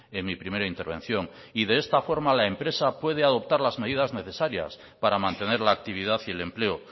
en mi primera intervención y de esta forma la empresa puede adoptar las medidas necesarias para mantener la actividad y el empleo